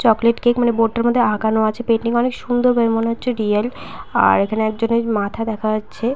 Chocolate cake মানে board -টার মধ্যে আঁকানো আছে পেইন্টিং অনেক সুন্দর মানে রিয়াল । এইখানে একজনের মাথা দেখা যাচ্ছে ।